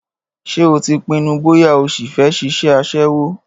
Ṣé o ti pinnu bóyá ó sì fẹ́ ṣiṣẹ́ aṣẹ́wó?